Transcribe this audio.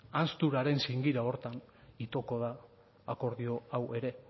ahanzturaren zingira horretan itoko da akordio hau ere